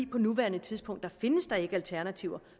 på nuværende tidspunkt findes der ikke alternativer